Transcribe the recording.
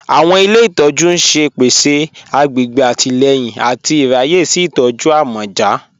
Awọn ilẹ̀ ìtọ̀jú n ṣẹ̀ pẹ̀sẹ̀ àgbègbè àtìlẹ̀yìn àti ìráyè sí ìtọ̀jú àmọ̀já